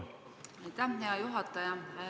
Aitäh, hea juhataja!